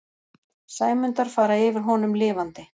Sæmundar fara yfir honum lifandi.